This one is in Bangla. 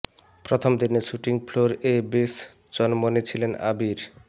প্রথম দিনে শুটিং ফ্লোর এ বেশ চনমনে ছিলেন আবির